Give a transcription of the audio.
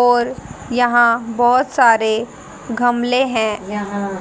और यहां बहोत सारे घमले है यहां--